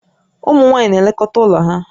Ụmụ nwaanyị na-elekọta ụlọ ha